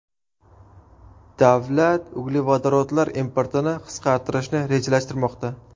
Davlat uglevodorodlar importini qisqartirishni rejalashtirmoqda.